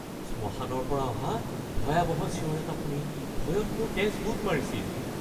শ্মশানৰ পৰা অহা ভয়াৱহ চিঞৰ এটা শুনি ভয়ত মোৰ তেজ গোট মাৰিছিল।